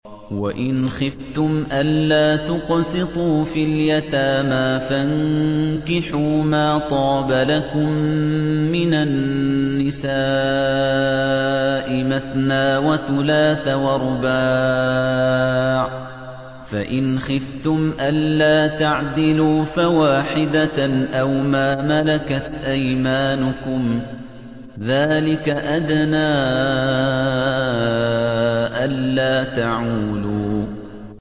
وَإِنْ خِفْتُمْ أَلَّا تُقْسِطُوا فِي الْيَتَامَىٰ فَانكِحُوا مَا طَابَ لَكُم مِّنَ النِّسَاءِ مَثْنَىٰ وَثُلَاثَ وَرُبَاعَ ۖ فَإِنْ خِفْتُمْ أَلَّا تَعْدِلُوا فَوَاحِدَةً أَوْ مَا مَلَكَتْ أَيْمَانُكُمْ ۚ ذَٰلِكَ أَدْنَىٰ أَلَّا تَعُولُوا